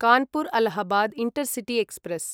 Kanpur Allahabad intercity express